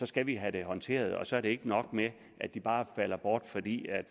skal vi have dem håndteret og så er det ikke nok at de bare falder bort fordi